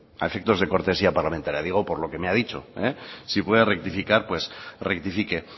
a efectos de cortesía parlamentaria digo por lo que me ha dicho si puede rectificar pues rectifique